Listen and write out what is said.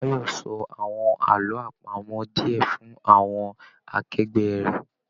Báyọ́ sọ àwọn àlọ àpamọ̀ diẹ fún àwọn akẹgbẹ rẹ.